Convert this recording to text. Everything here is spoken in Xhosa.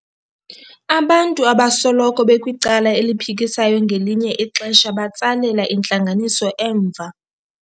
Abantu abasoloko bekwicala eliphikisayo ngelinye ixesha batsalela intlanganiso emva.